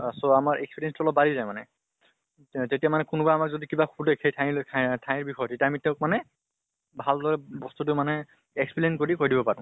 so আমাৰ experience টো অলপ বাঢ়ি যায় মানে। তে তেতিয়া মানে কোনোবা আমাক যদি কিবা এটা সুধে সেই ঠাইলৈ ঠাই আহ ঠাইৰ বিষয়ে, তেতিয়া আমি তেওঁক মানে ভাল্দৰে বস্তু মানে explain কৰি কৈ দিব পাৰো।